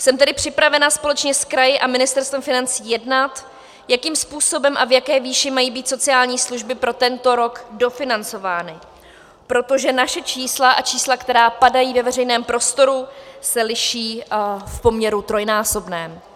Jsem tedy připravena společně s kraji a Ministerstvem financí jednat, jakým způsobem a v jaké výši mají být sociální služby pro tento rok dofinancovány, protože naše čísla a čísla, která padají ve veřejném prostoru, se liší v poměru trojnásobném.